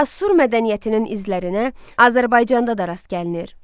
Asur mədəniyyətinin izlərinə Azərbaycanda da rast gəlinir.